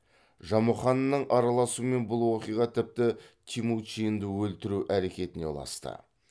жамұқанның араласуымен бұл оқиға тіпті темучинді өлтіру әрекетіне ұласты